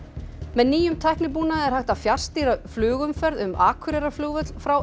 með nýjum tæknibúnaði er hægt að fjarstýra flugumferð um Akureyrarflugvöll frá